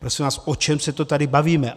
Prosím vás, o čem se to tady bavíme?